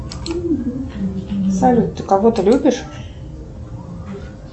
салют ты кого то любишь